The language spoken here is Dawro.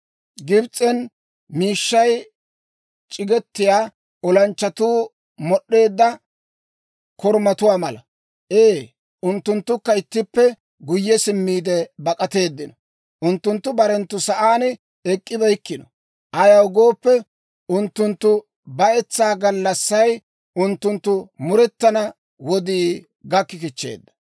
Gibs'en miishshay c'igetiyaa olanchchatuu mod'd'eedda korumatuwaa mala. Ee, unttunttukka ittippe guyye simmiide bak'ateeddino; unttunttu barenttu sa'aan ek'k'ibeykkino. Ayaw gooppe, unttunttu bayetsaa gallassay, unttunttu murettana wodii gakki kichcheedda.